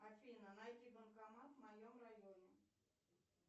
афина найди банкомат в моем районе